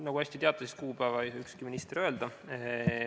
Nagu te hästi teate, siis kuupäeva ei tea ükski minister öelda.